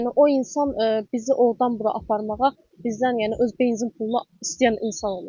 Yəni o insan bizi ordan bura aparmağa, bizdən yəni öz benzin puluna istəyən insan olub.